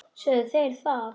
Sögðu þeir það?